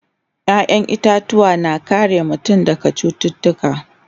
ƴaƴan itatuwa na kare mutum daga cututtuka